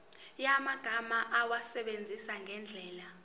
yamagama awasebenzise ngendlela